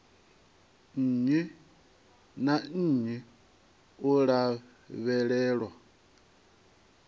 nnyi na nnyi u lavhelelwa